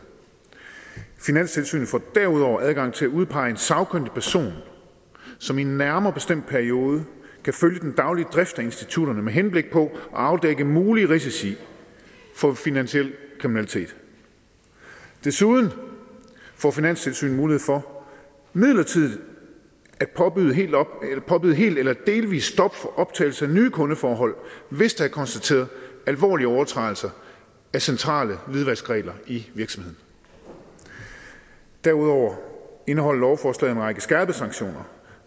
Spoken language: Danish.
finanstilsynet får derudover adgang til at udpege en sagkyndig person som i en nærmere bestemt periode kan følge den daglige drift af institutterne med henblik på at afdække mulige risici for finansiel kriminalitet desuden får finanstilsynet mulighed for midlertidigt at påbyde helt påbyde helt eller delvist stop for optagelse af nye kundeforhold hvis der er konstateret alvorlige overtrædelser af centrale hvidvaskregler i virksomheden derudover indeholder lovforslaget en række skærpede sanktionerne